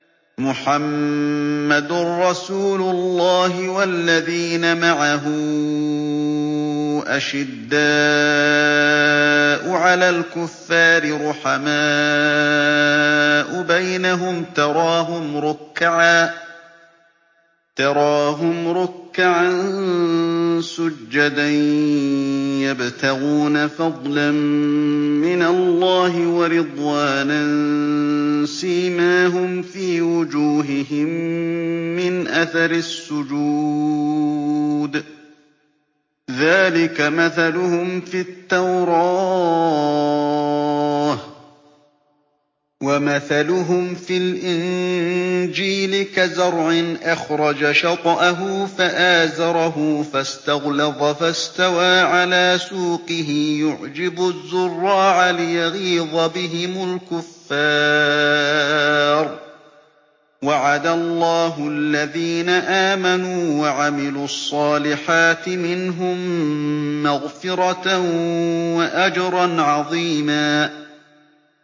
مُّحَمَّدٌ رَّسُولُ اللَّهِ ۚ وَالَّذِينَ مَعَهُ أَشِدَّاءُ عَلَى الْكُفَّارِ رُحَمَاءُ بَيْنَهُمْ ۖ تَرَاهُمْ رُكَّعًا سُجَّدًا يَبْتَغُونَ فَضْلًا مِّنَ اللَّهِ وَرِضْوَانًا ۖ سِيمَاهُمْ فِي وُجُوهِهِم مِّنْ أَثَرِ السُّجُودِ ۚ ذَٰلِكَ مَثَلُهُمْ فِي التَّوْرَاةِ ۚ وَمَثَلُهُمْ فِي الْإِنجِيلِ كَزَرْعٍ أَخْرَجَ شَطْأَهُ فَآزَرَهُ فَاسْتَغْلَظَ فَاسْتَوَىٰ عَلَىٰ سُوقِهِ يُعْجِبُ الزُّرَّاعَ لِيَغِيظَ بِهِمُ الْكُفَّارَ ۗ وَعَدَ اللَّهُ الَّذِينَ آمَنُوا وَعَمِلُوا الصَّالِحَاتِ مِنْهُم مَّغْفِرَةً وَأَجْرًا عَظِيمًا